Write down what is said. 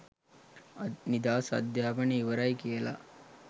නිදහස් අධ්‍යාපනය ඉවරයි කියල